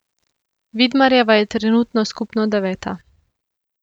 Vidmarjeva je trenutno skupno deveta.